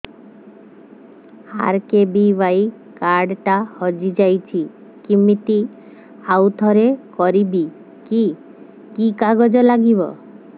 RKBY card ଟା ହଜିଯାଇଛି କିମିତି ଆଉଥରେ କରିବି କି କି କାଗଜ ଲାଗିବ